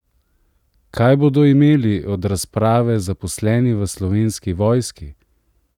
Kaj bodo imeli od razprave zaposleni v Slovenski vojski?